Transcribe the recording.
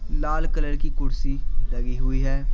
लाल colour की कुर्सी लगी हुई है।